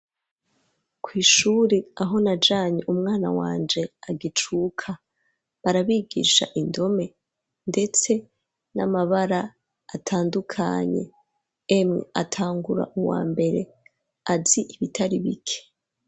Kw'ishure aho najanye umwana wanje agicuka barabigisha indome ndetse n'amabara atandukanye emwe atangura muwambere azi ibitari bike.